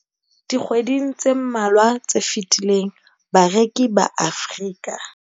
Dikgweding tse mmalwa tse fetileng, bareki ba Afrika